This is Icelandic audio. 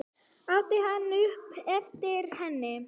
át hann upp eftir henni.